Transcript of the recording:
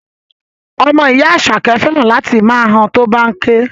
Ọmọ ìyá Àṣàkẹ́ fẹ́ràn láti máa han tó bá ń ké